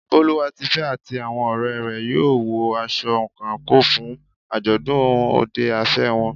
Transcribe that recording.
Boluwatife àti àwọn ọ̀rẹ́ rẹ̀ yóò wọ aṣọ àǹkóò fún àjọ̀dún òde afẹ́ wọn.